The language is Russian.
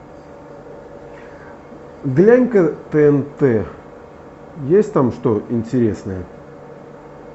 глянь ка тнт есть там что интересное